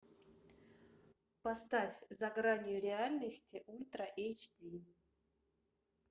поставь за гранью реальности ультра эйч ди